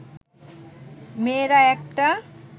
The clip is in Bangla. মেয়েরা একটা